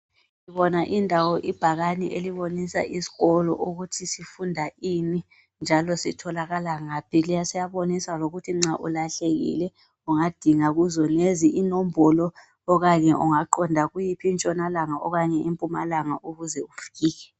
Indawo ibhakani elibonisa isikolo ukuthi sifunda ini njalo sitholakala ngaphi. Siyabonisa lokuthi nxa ulahlekile ungadinga kuzonezi inombolo okanye ungaqonda kuyiphi intshonalanga okanye impumalanga ukuze ufike.